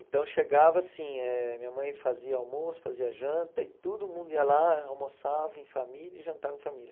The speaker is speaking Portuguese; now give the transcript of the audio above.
Então, chegava assim, eh minha mãe fazia almoço, fazia janta e todo mundo ia lá, almoçava em família e jantava em família.